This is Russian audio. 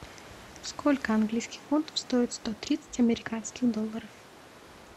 сколько английских фунтов стоит сто тридцать американских долларов